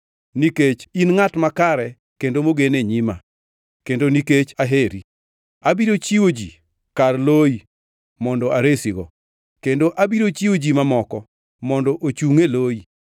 Nikech in ngʼat makare kendo mogen e nyima kendo nikech aheri, abiro chiwo ji kar loi mondo aresigo kendo abiro chiwo ji mamoko mondo ochungʼ e loi.